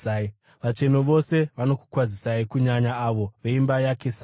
Vatsvene vose vanokukwazisai, kunyanya avo veimba yaKesari.